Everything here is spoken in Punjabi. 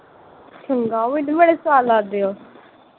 ਮੈਨੂੰ ਵੀ ਬੜੇ ਸਵਾਦ ਲਗਦੇ ਉਹ।